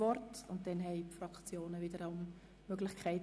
Danach sind die Fraktionen an der Reihe.